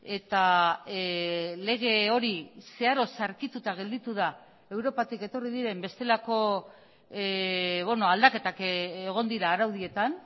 eta lege hori zeharo zaharkituta gelditu da europatik etorri diren bestelako aldaketak egon dira araudietan